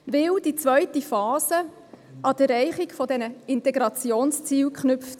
Denn die zweite Phase wird an die Erreichung der Integrationsziele geknüpft.